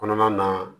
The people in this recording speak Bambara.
Kɔnɔna na